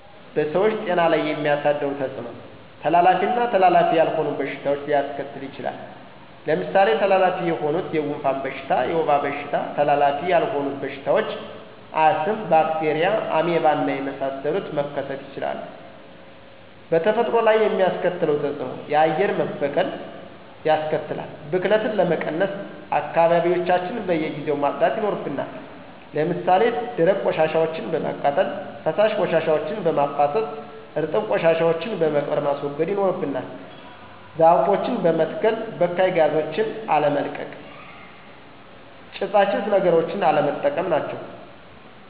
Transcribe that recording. በሰዎች ጤና ላይ የሚያደርሰዉ ተጽኖ:-ተላላፊ ና ተላላፊ ያልሆኑ በሽታዎች ሊያሰከትል ይችላል። ለምሳሌ ተላላፊ የሆኑት:-የጉንፍን በሽታ፣ የወባ በሽታ ተላላፊ ያልሆኑ በሽታዎች :-አስም፣ ባክቴርያ፣ አሜባና የመሳሰሉት መከሰቱ ይችላሉ። በተፈጥሮ ላይ የሚያስከትለው ተጽእኖ :-የአየር መበከል ያስከትላል። ብክለትን ለመቀነስ :-አካባቢዎችያችን በየጊዜው ማጽዳት ይናርብናል። ለምሳሌ ደረቅ ቆሻሻወችን በማቃጠል፣ ፈሳሽ ቆሻሻወችን በማፋሰስ፣ እርጥብ ቆሻሻወችን በመቅበር ማስወገድ ይኖርብናል። ዛፎችን መተሰከል፣ በካይ ጋዞችን አለመልቀቅ፣ ጭሳጭስ ነገሮችን ቀለነጠቀም ናቸው።